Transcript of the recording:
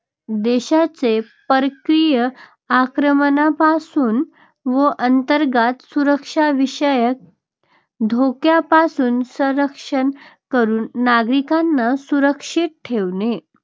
देशाचे परकीय आक्रमणापासून व अंतर्गत सुरक्षाविषयक धोक्यापासून संरक्षण करून नागरिकांना सुरक्षित ठेवणे.